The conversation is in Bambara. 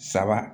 Saba